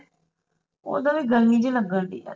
ਓਹਦਾ ਵੀ ਗਰਮੀ ਜਿਹੀ ਲੱਗਣਡੀ